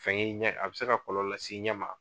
Fɛn ye ɲɛ a bɛ se ka kɔlɔlɔ lase ɲɛ ma.